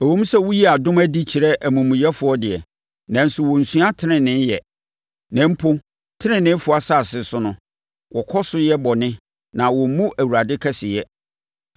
Ɛwom sɛ woyi adom adi kyerɛ amumuyɛfoɔ deɛ, nanso wɔnnsua tenenee yɛ; na mpo teneneefoɔ asase so no, wɔkɔ so yɛ bɔne na wɔmmu Awurade kɛseyɛ.